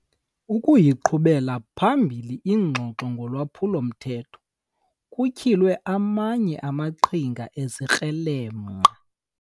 Ukuyiqhubela phambili ingxoxo ngolwaphulo-mthetho kutyhile amanye amaqhinga ezikrelemnqa.